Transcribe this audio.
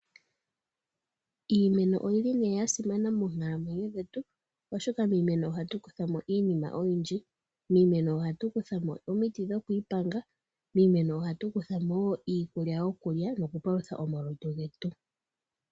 Iimeno oya simana monkalamwenyo dhetu, oshoka miimeno ohatu kutha mo iinima oyindji ngaashi omiti dhokwiipanga noshowo iikulya opo tu paluthe omalutu getu.